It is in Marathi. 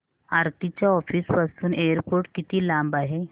आरती च्या ऑफिस पासून एअरपोर्ट किती लांब आहे